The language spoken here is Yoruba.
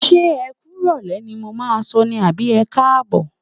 Ṣé ẹ kú ìrọ̀lẹ́ ni mo máà ń sọ ní àbí ẹkáàbọ̀?